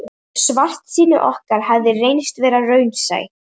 Og svartsýni okkar hafði reynst vera raunsæi.